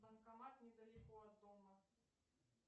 банкомат недалеко от дома